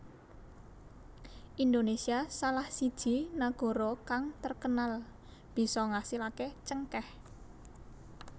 Indonesia salah siji nagara kang terkenal bisa ngasilaké cengkèh